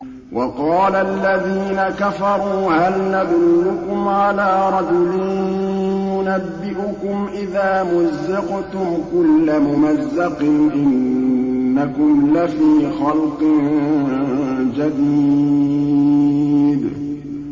وَقَالَ الَّذِينَ كَفَرُوا هَلْ نَدُلُّكُمْ عَلَىٰ رَجُلٍ يُنَبِّئُكُمْ إِذَا مُزِّقْتُمْ كُلَّ مُمَزَّقٍ إِنَّكُمْ لَفِي خَلْقٍ جَدِيدٍ